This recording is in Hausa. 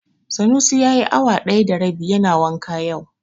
Sanusi yayi awa ɗaya da rabi yana wanka yau.